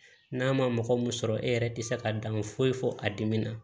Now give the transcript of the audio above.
N'a ma mɔgɔ mun sɔrɔ e yɛrɛ tɛ se ka dan foyi fɔ a dimina